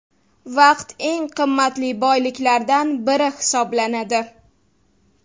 Vaqt eng qimmatli boyliklardan biri hisoblanadi.